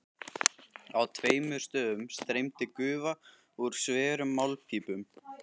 Á tveimur stöðum streymdi gufa úr sverum málmpípum.